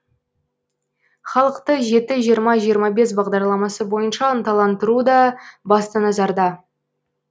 халықты жеті жиырма жиырма бес бағдарламасы бойынша ынталандыру да басты назарда